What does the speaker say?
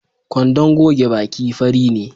Kwandon goge baki fari ne